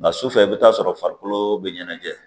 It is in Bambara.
Nka su fɛ i bɛ taa sɔrɔ farikolo bɛ ɲɛnajɛ